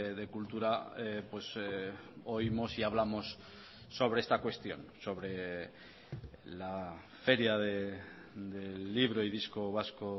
de cultura oímos y hablamos sobre esta cuestión sobre la feria del libro y disco vasco